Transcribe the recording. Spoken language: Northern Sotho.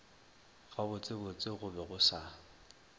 gabotsebotse go be go sa